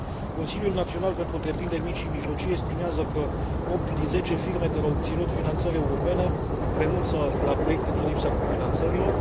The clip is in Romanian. Consiliul Național pentru întreprinderi mici și mijlocii estimează că 8 din 10 firme care au obținut finanțări europene renunță la proiecte din lipsa cofinanțărilor.